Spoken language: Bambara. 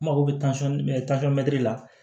N mago bɛ tansɔn la